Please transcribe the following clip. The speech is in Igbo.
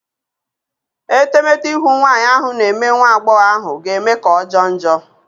Etemete ihu nwanyị ahụ na-eme nwa agbọghọ ahụ ga-eme ka ọjọọ njọ.